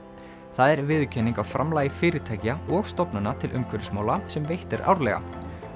það er viðurkenning á framlagi fyrirtækja og stofnana til umhverfismála sem veitt er árlega